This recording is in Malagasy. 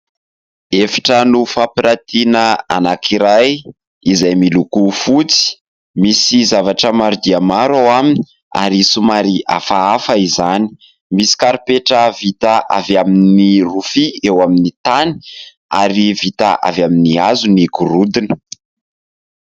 efitrano fampiratiana anankiray izay miloko fotsy , misy zavatra maro dia maro ao aminy ary somary hafahafa izany, misy karipetra vita avy amin'ny rofia eo amin'ny tany ary vita avy amin'ny hazo ny gorodona